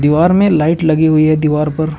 बार में लाइट लगी हुई है दीवार पर।